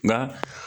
Nka